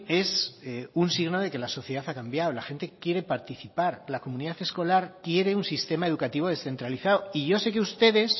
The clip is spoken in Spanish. es un signo de que la sociedad ha cambiado la gente quiere participar la comunidad escolar quiere un sistema educativo descentralizado y yo sé que ustedes